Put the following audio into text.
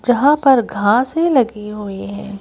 जहां पर घासें लगी हुई हैं।